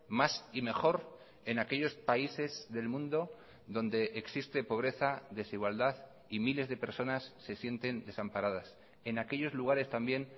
más y mejor en aquellos países del mundo donde existe pobreza desigualdad y miles de personas se sienten desamparadas en aquellos lugares también